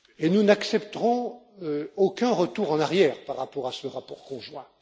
Nous n'accepterons aucun retour en arrière par rapport à ce rapport conjoint.